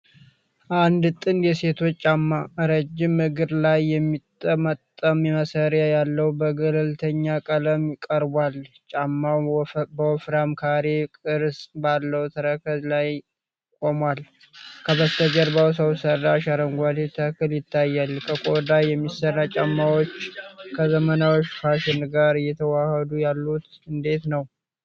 አንድ ጥንድ የሴቶች ጫማ፣ ረጅም እግር ላይ የሚጠመጠም ማሰሪያ ያለው፣ በገለልተኛ ቀለም ቀርቧል። ጫማው በወፍራም ካሬ ቅርጽ ባለው ተረከዝ ላይ ቆሟል። ከበስተጀርባ ሰው ሰራሽ አረንጓዴ ተክል ይታያል። ከቆዳ የሚሰሩ ጫማዎች ከዘመናዊ ፋሽን ጋር እየተዋሃዱ ያሉት እንዴት ነው?